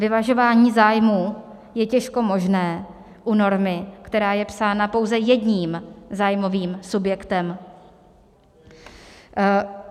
Vyvažování zájmů je těžko možné u normy, která je psána pouze jedním zájmovým subjektem.